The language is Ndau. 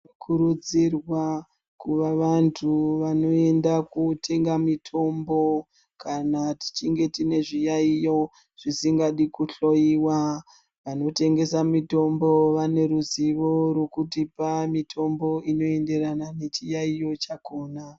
Tinokurudzirwa kuvavantu vanoenda kotenga mitombo kana tichinge tine zviyaiyo zvisingadi kuhloiwa. Vanotengesa mitombo vaneruzivo rwekutipa mitombo inoendeana nechiyaiyo chakona.